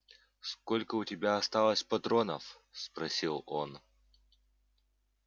сколько у тебя осталось патронов спросил он